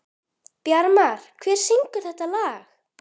Bjarmar, hver syngur þetta lag?